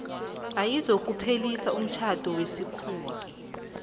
ayizokuphelisa umtjhado wesikhuwa